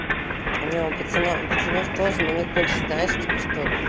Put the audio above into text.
у нас тоже на них больше знаешь теперь